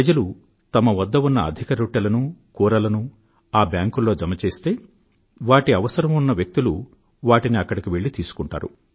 ప్రజలు వారి వద్ద ఉన్న అధిక రొట్టెలను కూరలనూ ఆ బ్యాంకుల్లో జమ చేస్తే వాటి అవసరం ఉన్న వ్యక్తులు వాటిని అక్కడకు వెళ్ళి తీసుకుంటారు